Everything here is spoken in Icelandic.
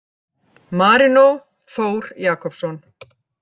Marino Þór Jakobsson